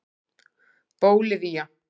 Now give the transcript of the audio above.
Bólivía